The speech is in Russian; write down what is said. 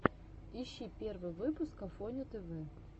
ищи первый выпуск афоню тв